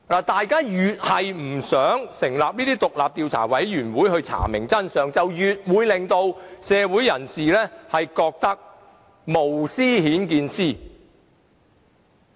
大家越不想成立獨立的調查委員會查明真相，便越會令社會人士覺得是無私顯見私。